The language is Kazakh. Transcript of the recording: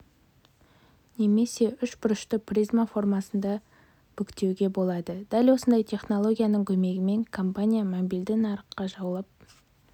немесе үш бұрышты призма формасында бүктеуге болады дәл осындай технологияның көмегімен компания мобильді нарықты жаулап